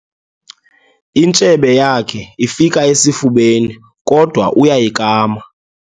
Intshebe yakhe ifika esifubeni kodwa uyayikama.